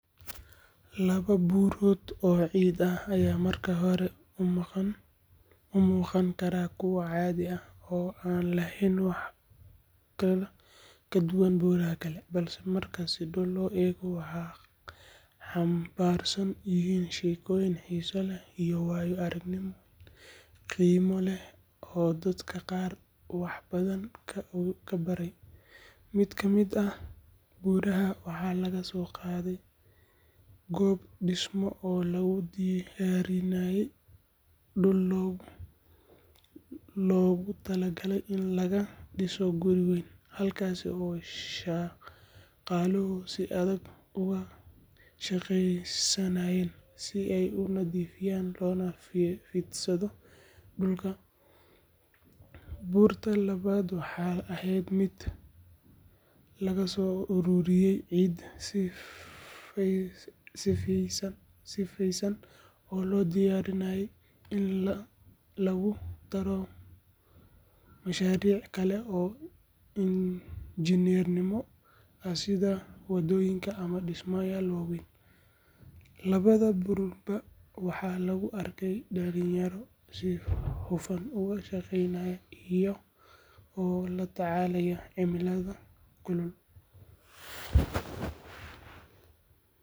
Laba buurood oo ciid ah ayaa marka hore u muuqan kara kuwo caadi ah oo aan lahayn wax ka duwan buuraha kale, balse marka si dhow loo eego waxay xambaarsan yihiin sheekooyin xiiso leh iyo waayo-aragnimooyin qiimo leh oo dadka qaar wax badan ka baray. Mid ka mid ah buurahan waxaa laga soo qaaday goob dhismo oo lagu diyaarinayey dhul loogu talagalay in laga dhiso guri weyn, halkaas oo shaqaaluhu si adag uga shaqeynayeen si ay u nadiifiyaan loona fidsado dhulka. Buurta labaadna waxay ahayd mid laga soo ururiyey ciid sifaysan oo loo diyaarinayey in lagu daro mashaariic kale oo injineernimo ah sida waddooyin ama dhismayaal waaweyn. Labada buurba waxaa lagu arkay dhalinyaro si hufan uga shaqeynaya iyaga oo la tacaalaya cimilada kulul.